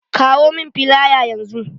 Kawo mun filaya yanzu!